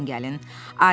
Yaxın gəlin.